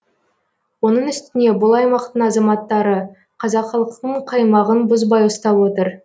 оның үстіне бұл аймақтың азаматтары қазақылықтың қаймағын бұзбай ұстап отыр